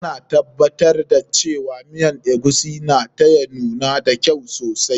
Ta na tabbatar da cewa miyan eguisi na ta ya nuna da kyau sosai.